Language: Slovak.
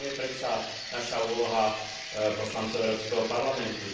To je predsa naša úloha poslancov Európskeho parlamentu.